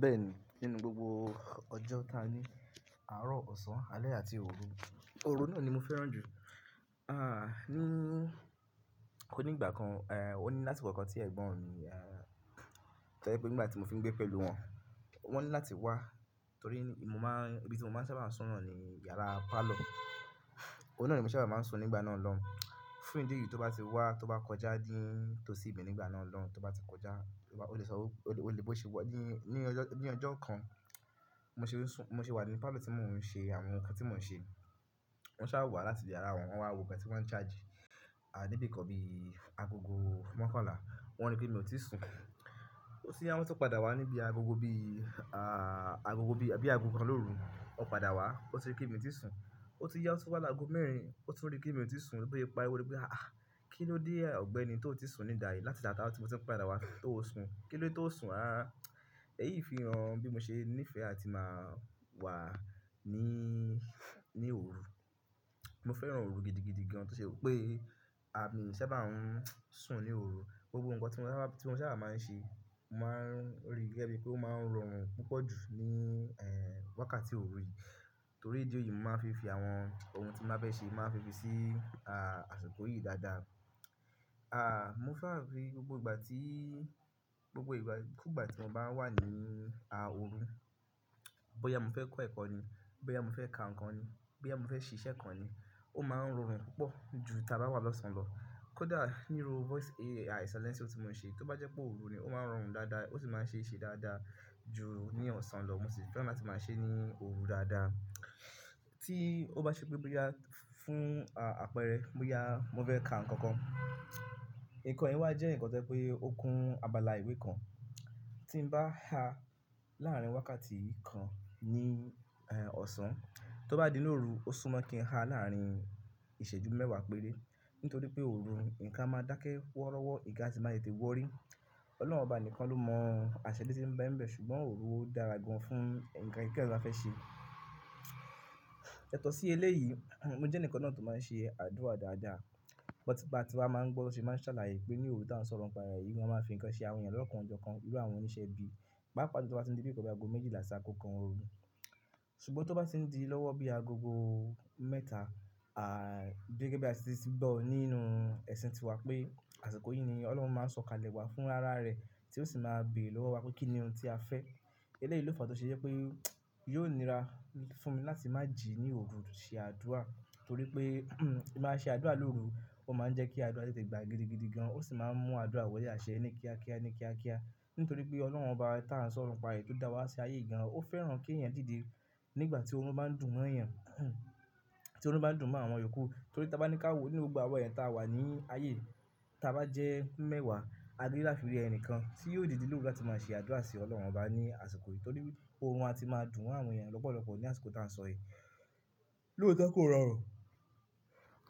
Bẹ́ẹ̀ni, nínú gbogbo ọjọ́ ta ní àárọ̀, ọ̀sán, alẹ́ àti òru, òru náà ni mo fẹ́ràn jù. Ní ó ní ìgbà kan, ó ní láti ìgbà kàn tí ẹ̀gbọ́n mi, tẹ́je pé nígbà tí mo fi ń gbé pẹ̀lú wọn, wọ́n ní láti wá torí mo máa ń, ibi tí mo máa ń sábà sùn náà ni yàrá pálọ̀. Ò wun náà ni mo sábà máa ń sùn nígbà náà lọ́ hún. Fún ìdí èyí tó bá ti wá, tó bá kọjá dín tó sí ibẹ̀ nígbà náà lọ́hún, tó bá ti kọjá, ó lè sọ ó-- ó lè bó ṣe wọ́, dín, ní ọjọ́ kan. Bí Mo ṣe nsún-- mo ṣe wà nínú pálọ̀ tí mo ń ṣe àwọn nǹkan tí mo ń ṣe. Wọ́n sá wá láti ibi yará wọn, wọ́n wá wo nkan tí wọ́n ń charge. A, níbi kan bí agogo mọ́kànlá, wọ́n rí pé mi ò tíì sùn. Ó tún yá, wọ́n ti padà wá níbi agogo bí, à, agogo bí, bí agogo kan lóru, ó padà wá, ó ti rí pé mi ò tí sùn. Ó ti yá tó bá lọ agogo mẹ́rin, ó tún rí pé mi ò tí sùn. Bí ó parí wọ́n rí pé, "àh! Kí ló dé ọ̀gbẹ́ni tó ò tí sùn ní ìdáyi láti ìgbà tí mo ti ń padà wá tó ó sun? Kí ló dé tó ó sun?" À, èyí fi hàn bí mo ṣe nífẹ̀ẹ́ láti máa wà ní, ní òru. Mo fẹ́ràn òru gidigidi gan-an tó ṣe pé pé àmi ń sábà ń sùn ní òru. Gbogbo nǹkan tí mo sábà, tí mo sábà máa ń ṣe, mo máa ń rí gẹ́gẹ́ bí pé ó máa ń rọrùn púpọ̀ jù ní, ẹ́, wákàtí òru yìí. Torí rédíò yìí mo máa ń fi fi àwọn ohun tí mo bá fẹ́ ṣe, mo máa ń fi fi sí, à, àsìkò yìí dáadáa. A, mo fẹ́ràn rí gbogbo ìgbà tí, gbogbo ìgbà, kú gbà tí mo bá wà ní, a, òru. Bóyá mo fẹ́ kọ ẹ̀kọ́ ni, bóyá mo fẹ́ ka nǹkan ni, bóyá mo fẹ́ ṣe iṣẹ́ kan ni, ó máa ń rọrùn púpọ̀ ju tí a bá wà lọ́sàn lọ. Kódà nínú voice AI silence tí mo ń ṣe, tó bá jẹ́ pé òru ni, ó máa ń rọrùn dáadáa, ó sì máa ń ṣe é ṣe dáadáa ju ní ọ̀sán lọ. Mo sì fẹ́ràn láti máa ṣe é ní òru dáadáa. Tí ó bá ṣe pé bóyá fún, a, àpẹẹrẹ, bóyá mo fẹ́ ka nǹkan kan. Ìkànnì wa jẹ́ ǹkan tẹ́lẹ̀ pé ó kún abala ìwé kan. Tí n bá ha láàárín wákàtí kan ní, ẹ́, ọ̀sán, tó bá di lóru, ó súnmọ́ kí n ha láàárín ìṣẹ́jú mẹ́wàá péré. Nítorí pé òru, ǹkan máa dákẹ́ wọ́rọ́wọ́, ìga sì máa lè tì wọ́rí. Ọlọ́run ọba nìkan ló mọ àṣẹlẹ̀ tí ń bẹ ń bẹ̀, ṣùgbọ́n òru ó dára gan-an fún ǹkan kíkan tí a fẹ́ ṣe. Yàtọ̀ọ̀sì eléyìí, mo jẹ́ ǹkan náà tó máa ń ṣe àdúrà dáadáa. Bọ́ tí bá ti máa ń gbọ́ lóṣù, ẹ máa ṣàlàyé pé ní òru tó ń sọ̀rọ̀ ǹ pa è, igun máa ń fi ǹkan ṣe àwọn ènìyàn lọ́kàn jọkan irú àwọn oníṣẹ́ bí. Pàápàa jùlo tí ó bá ti ń di bí i kọjá agogo méjìlá sì akọ́kan òru. Ṣùgbọ́n tó bá ti ń di lọ́wọ́ bí i agogo mẹ́ta, à, gẹ́gẹ́ bí a ti sì gbọ́ nínú ẹ̀sìn tiwa pé àsìkò yìí ni Ọlọ́run máa ń sọ̀kalẹ̀ wá fún ara rẹ̀ tí ó sì máa bé lọ́wọ́ wa pé kí ni ohun tí a fẹ́. Eléyìí ló fà á tó ṣe jẹ́ pé yóò nira fún mi láti má jí ní òru ṣe àdúrà torí pé tí màá ṣe àdúrà lóru, ó máa ń jẹ́ kí àdúrà lè tẹ̀ gbà gidigidi gan-an. Ó sì máa ń mú àdúrà wọlé àṣẹ́ ní kíákíá ní kíákíá. Nítorí pé Ọlọ́run ọba tá ń sọ̀rọ̀ ǹ pa è tó dá wa ṣe ayé gan-an, ó fẹ́ràn kí ènìyàn dìde nígbà tí orun bá ń dùn wọn, ènìyàn, tí orun bá ń dùn mọ́ àwọn yòókù. Torí tí a bá ní ká òru ní gbogbo àwọn ènìyàn tá a wà ní ayé, tí a bá jẹ́ mẹ́wàá, a gbé láfimúre ẹni kan tí yóò dìde lóru láti máa ṣe àdúrà sí Ọlọ́run ọba ní àsìkò yìí. Torí oorun a ti máa dùn àwọn ènìyàn lọ́pọ̀lọ́pọ̀ ní àsìkò tí a ń sọ è. Lóotọ́ kò rọrùn.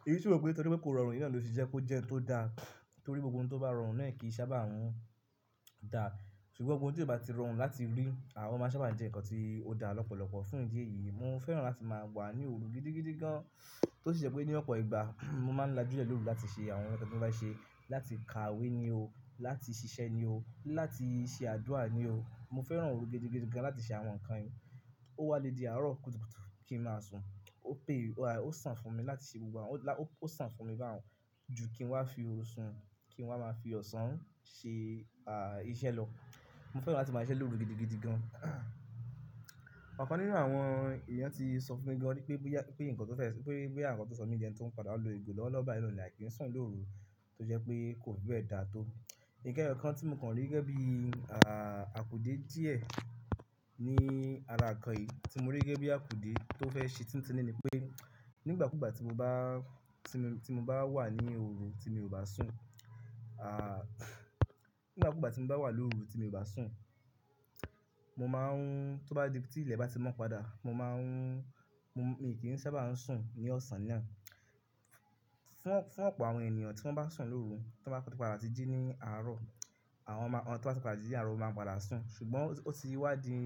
Èmí sì wo pé torí pé kò rọrùn, yì náá ló fi ṣe kó jẹ́ ẹ́ tó da. Torí gbogbo ohun tó bá rọrùn náà kì í sábà rán da. Ṣùgbọ́n ohun tí ó bá ti rọrùn láti rí, à, ó máa sábà jẹ́ ǹkan tí ó da lọ́pọ̀lọ́pọ̀. Fún ìdí èyí, mo fẹ́ràn láti máa wà ní òru gidigidi gan-an tó ṣe jẹ́ pé ní ọ̀pọ̀ ìgbà, mo máa ń lajú lẹ́rú láti ṣe àwọn nǹkan tí mo bá ṣe. Láti ka ìwé ni ó, láti ṣiṣẹ́ ní ó, láti ṣe àdúrà ní ó. Mo fẹ́ràn òru gidigidi gan-an láti ṣe àwọn nǹkan yìí. Ó wá le di àárọ̀ kùtùkùtù kí n máa sùn. Ó pé, a, ó sàn fún mi láti ṣe gbogbo àwọn-- lá-- ó sàn fún mi bá a ju kí n wá fi òru oṣù, kí n wá máa fi ọ̀sán ṣe, a, iṣẹ́ lọ. Mo fẹ́ràn láti máa ṣe é lóru gidigidi gan-an. Ọ̀kan nínú àwọn ènìyàn tí sọ fún mi gan-an pé, pé ìyẹn ǹkan tó fẹ́, pé bí àwọn nǹkan tó sọ mí jẹ ni tó ń padà lo ìgò lọ́wọ́ ọba ìlú ní àìkí sùn lóru tó jẹ́ pé kò gbẹ́ dà tó. Ní ǹkan kan tí mo rí gẹ́gẹ́ bí, à, àkùdè díẹ̀ ní ara ǹkan yìí tí mo rí gẹ́gẹ́ bí àkùdè tó fẹ́ ṣe tuntun nì ní pé nígbà kúgbà tí mo bá, tí mo, tí mo bá wà ní òru tí mi ò bá sùn, à, nígbà kúgbà tí mo bá wà lóru tí mi ò bá sùn, mo máa ń, tó bá di, tí ìlẹ̀ bá ti mọ́ padà, mo máa ń, mo, èmi kì í sábà ń sùn ní ọ̀sán náà. Fún, fún ọ̀pọ̀ àwọn ènìyàn tí wọ́n bá sùn lóru, tí wọ́n bá ti padà jí ní àárọ̀, àwọn máa, àwọn tí wọ́n bá ti padà jí ní àárọ̀ máa ń padà sùn. Ṣùgbọ́n ó ti wá di,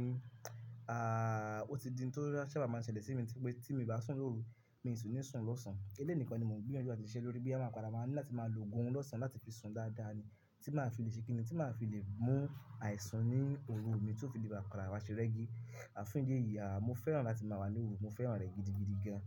à, ó ti di n tó sábà máa ń ṣẹlẹ̀ sí mi pé tí mi ò bá sùn lóru, mi ò sì ní sùn lọ́sàn. Eléyìí nìkan ni mo gbé ìyanjú láti ṣe lórí bí a máa padà máa ní láti máa lo gún-un lọ́sàn láti fi sùn dáadáa ni. Tí màá fi lè ṣikinni, tí màá fi lè mú àìsùn ní òru mi tó fi lè bá padà wá ṣe rẹ́gí. Àfún ìdí èyí, a, mo fẹ́ràn láti máa wà ní òru, mo fẹ́ràn rẹ̀ gidigidi gan-an.